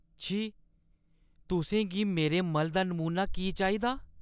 छी। तुसें गी मेरे मल दा नमूना की चाहिदा?